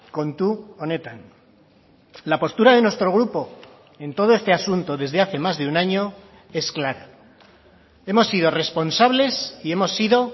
kontu honetan la postura de nuestro grupo en todo este asunto desde hace más de un año es clara hemos sido responsables y hemos sido